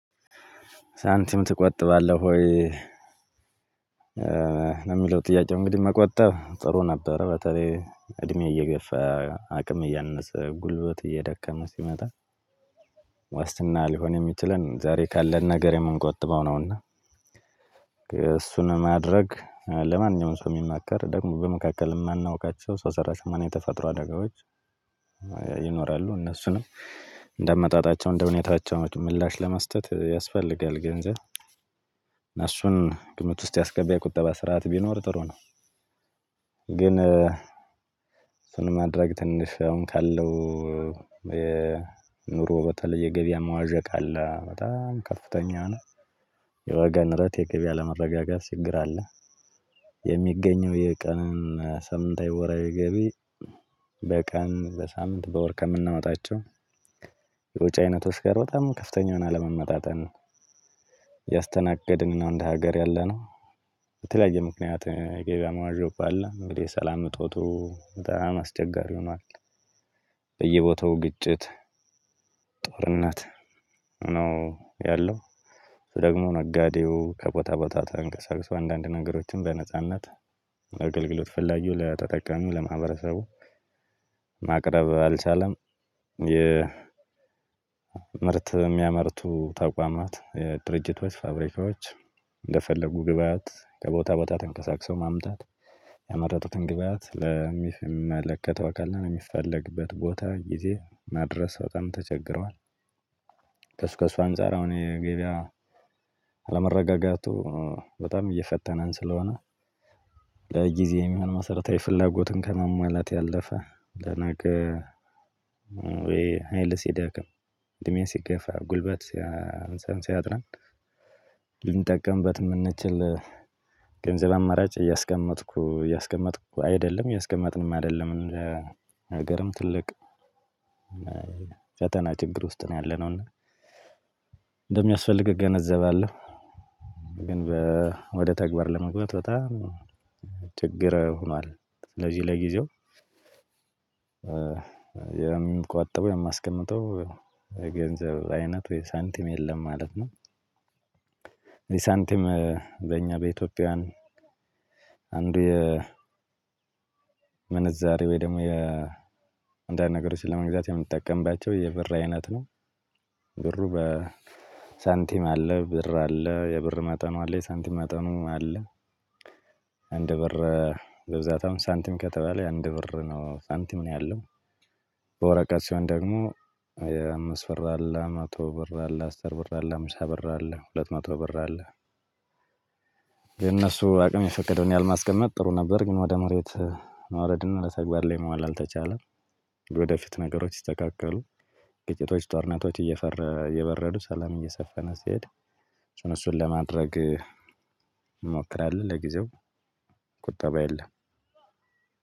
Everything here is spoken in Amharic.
ሳንቲም ትቆጥባለህ ወይ ለሚለው ጥያቄው እንግዲህ መቆጠብ ጥሩ ነበር በተለይ እድሜ እየገፋ አቅም እያነሰ ጉልበት እየደከመ ሲመጣ። ዋስትና ሊሆን እሚችለን ዛሬ ካለን ነገር እምንቆጥበው ነው እና። እሱን ማድረግ ለማንኛውም ሰው እሚመከር ደሞ በመካከል እማናውቃች ሰው ሰራሽ አደጋዎች። ይኖራሉ እነሱንም እደ አመጣጣቸው እደሁኔታቸው ምላሽ ለመስጠረመት ያሰፈልጋል ገንዘብ እሱን ግምት ውስጥ ያሰገባ የቁጠባ ስርዓት ቢኖር ነው። ግን እሱን ማድረግ ትንሽ አሁን ካለው ኑሮ በተለየ የገበያ መዋዠቅ አለ በጣም ከፍተኛ ነው። የዋጋ ንረት የገብያ አለመረጋጋት ችግር አለ። የሚገኘው የቀን ሳምንታዊ ወራዊ ገቢ በቀን በሳምንት በወር ከምናወጣቸው ወጭ አይነት ጋር በጣም ከፍተኛ የሆነ አለመመጣጠን ነው። ያስተናገድን እንደ ሀገር ያለነው በተለያየ ምክንያት ገበያ መዋዠቁ አለ እንግዲህ ሰላም እጦቱ በጣም አስቸጋሪ ሆኗል። በየቦታው ግጭት ጦርነት ነው ያለው ደሞ ነጋዴው ከቦታ ቦታ ተንቀሳቅሶ አንዳንድ ነገሮችን በነጻነት አገልግሎት ፈላጊ ለተጠቃሚ ለማህበረሰቡ ማቅረብ አልቻለም። የ ምርት እሚያመርቱ ተቋማት ድርጅቶች ፋብሪካዎች እንደፈለጉ ግብአት ከቦታ ቦታ ተንቀሳቅሰው ማምጣት ያመረቱትን ግብአት ለሚመለከተው አካል እና ለሚፈለግበት ቦታ ጊዜ ማድረስ በጣም ተቸግረዋል። ከሱ ከሱ አንፃር አሁን የገብያ አለመረጋጋቱ በጣም እየፈተነን ስለሆነ ለጊዜ የሚሆን መሰረታዊ ፍላጎትን ከመሟላት ያለፈ ለነገ ወይ ሀይል ሲደክም እድሜ ሲገፋ ጉልበት ሲያንሰን ሲያጥረን ልንጠቀምበት እምንችል ገንዘብ አማራጭ እያስቀመጥኩ እያስቀመጥኩ አይደለም እያስቀመጥንም አደለም እንደ ሀገርም ትልቅ ፈተና ችግር ውስጥ ነው ያለነው እና እንደሚያስፈልግ እገነዘባለሁ። ወደተግባር ለመግባት በጣም ችግር ሆኗል ለዚህ ለጊዜው። የምቆጥ የማስቀምጠው የገንዘብ አይነት ወይም ሳንቲም ሳንቲም በእኛ በኢትዮጵያውያን አንዱ የምንዛሬ ወይ ደሞ የ አንዳንድ ነገሮች ለመግዛት የምጠቀምባቸው የብር አይነት ነው። ብሩ በሳንቲም አለ ብር አለ የብር መጠኑ አለ የሳንቲም መጠኑ አለ። አንድ ብር በብዛት አሁን ሳንቲም ከተባለ አንድ ብር ነው ሳንቲም ነው ያለው። በወረቀት ሲሆን ደግሞ የአምብር አለ መቶ ብር አለ አስር ብር አለ ሃምሳ ብር አለ ሁለት መቶ ብር አለ። የነሱ አቅም የፈቀደውን ያህል ማስቀመጥ ጥሩ ነበር ግን ወደ መሬት ማውረድና ለተግባር ላይ ማዋል አልተቻለም። ወደፊት ነገሮች ሲስተካከሉ ግጭቶች ጦርነቶች እየበረዱ ሰላም እየሰፈነ ሲሄድ እሱን ለማድረግ እንሞክራለን። ለጊዜው ቁጠባ የለም።